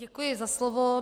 Děkuji za slovo.